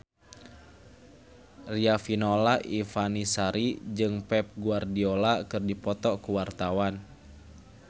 Riafinola Ifani Sari jeung Pep Guardiola keur dipoto ku wartawan